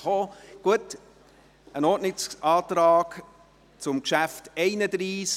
Wir haben einen Ordnungsantrag von Grossrat Grimm zum Traktandum 31 erhalten.